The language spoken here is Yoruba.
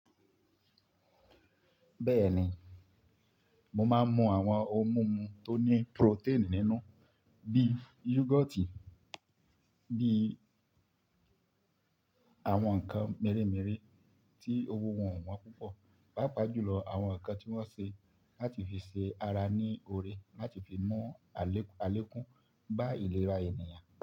Bẹ́ẹ̀ni, mo máa ń mú àwọn ohun mímu tó ní protein nínú bí yogurt, bí àwọn nǹkan mèremère tí òwò wọ́n o púpọ̀, pàápàá jùlọ àwọn nǹkan tí wọ́n ṣe láti fi ṣe ara ní oore láti fi mú àlékún bá ìlera ènìyàn.